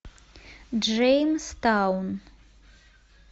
джеймстаун